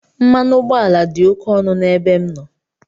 Mmanụ ụgbọala dị ókè ọnụ n'ebe m nọ.